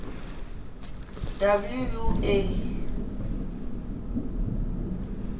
wua